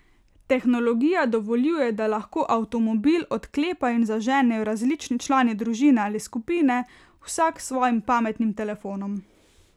Tehnologija dovoljuje, da lahko avtomobil odklepajo in zaženejo različni člani družine ali skupine, vsak s svojim pametnim telefonom.